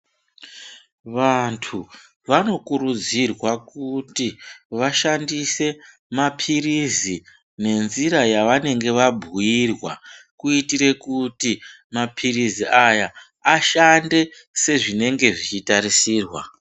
Vantu vanokurudzirwe kuti vashandise mapilizi nenzira yavanenge vabhuyirwa, kuti mapilizi aya ashande sezvinenge zvichitarisirwa.